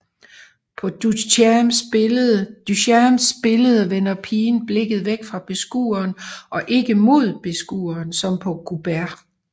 På Duchamps billede vender pigen blikket væk fra beskueren og ikke mod beskueren som på Courbets